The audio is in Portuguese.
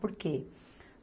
Por quê?